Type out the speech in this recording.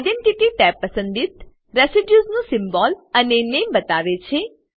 identity tab પસંદિત residue નું symbol અને નામે બતાવે છે